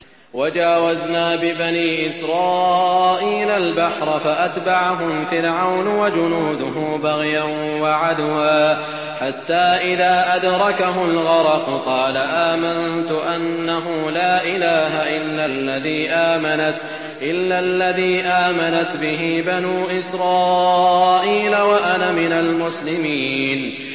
۞ وَجَاوَزْنَا بِبَنِي إِسْرَائِيلَ الْبَحْرَ فَأَتْبَعَهُمْ فِرْعَوْنُ وَجُنُودُهُ بَغْيًا وَعَدْوًا ۖ حَتَّىٰ إِذَا أَدْرَكَهُ الْغَرَقُ قَالَ آمَنتُ أَنَّهُ لَا إِلَٰهَ إِلَّا الَّذِي آمَنَتْ بِهِ بَنُو إِسْرَائِيلَ وَأَنَا مِنَ الْمُسْلِمِينَ